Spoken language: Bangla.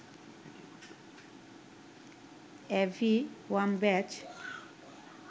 Abby Wambach